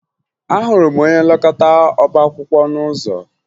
Ahụrụ m onye nlekọta ọbaakwụkwọ n'ụzọ